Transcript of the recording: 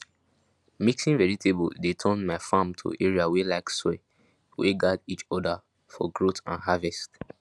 mixing vegetable dey turn my farm to area wey like soil wey gat each other for growth and harvest